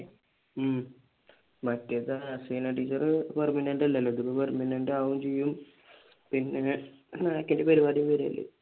ഉം മറ്റേത് Haseena teacher permanent അല്ലല്ലോ ഇത് permanent ആകുവേം ചെയ്യും പിന്നെ NAAC ന്റെ പരിപാടിയും വരുവല്ലേ